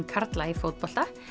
karla í fótbolta